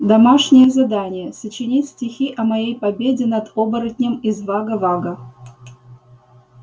домашнее задание сочинить стихи о моей победе над оборотнем из вага-вага